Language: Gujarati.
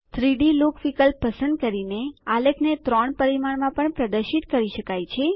3ડી લુક વિકલ્પ પસંદ કરીનેઆલેખને ત્રણ પરિમાણમાં પણ પ્રદર્શિત કરી શકાય છે